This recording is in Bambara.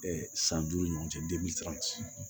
san duuru ni ɲɔgɔn cɛ